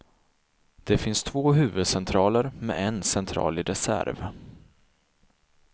Det finns två huvudcentraler med en central i reserv.